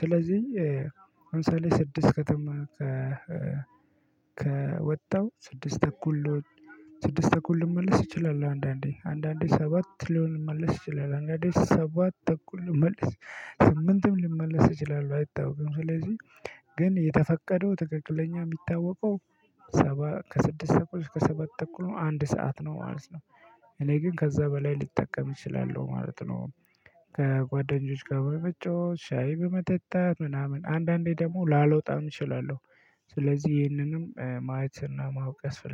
ስለዚህ ለምሳሌ ስድስት ከተማ ከወጣው ስድስት እኩል ስድስት እኩል ልመለስ ይችላል አንዳንዴ አንዳንዴ ሰባት ልመለስ ይችላል። አንዳንዴ ሰባት ተኩል ልመለስ ስምንትም ልመለስ እችላለሁ አይታወቅም። ስለዚህ ግን የተፈቀደው ትክክለኛ የሚታወቀው ሰባ ከስድስት ሰብስክራይብ ከሰባት ተኩል አንድ ሰዓት ነው ማለት ነው። እኔ ግን ከዛ በላይ ልጠቀም እችላለሁ ማለት ነው። ከጓደኞች ጋር በመጫወት ሻይ በመጠጣት ምናምን አንዳንዴ ደግሞ ላልወጣም እችላለሁ። ስለዚህ ይህንንም ማየትና ማውቀስ ፈለገ